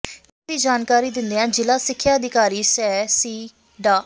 ਇਸ ਸਬੰਧੀ ਜਾਣਕਾਰੀ ਦਿੰਦਿਆਂ ਜ਼ਿਲਾ ਸਿੱਖਿਆ ਅਧਿਕਾਰੀ ਸੈ ਸਿ ਡਾ